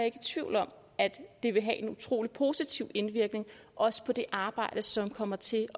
i tvivl om at det vil have en utrolig positiv indvirkning også på det arbejde som kommer til